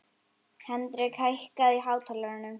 Hendrik, hækkaðu í hátalaranum.